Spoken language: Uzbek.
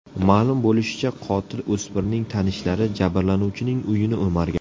Ma’lum bo‘lishicha, qotil o‘smirning tanishlari jabrlanuvchining uyini o‘margan.